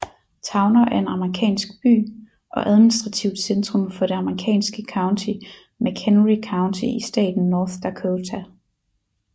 Towner er en amerikansk by og administrativt centrum for det amerikanske county McHenry County i staten North Dakota